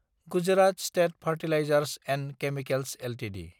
Gujarat state fertilizers & chemicals Ltd